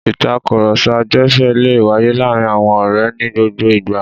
Ìtakùrọ̀sọ agbẹ̀fẹ̀ le wáyé láàárin àwọn ọ̀rẹ́ ní gbogbo ìgbà.